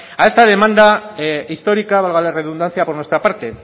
a esta demanda histórica valga la redundancia por nuestra parte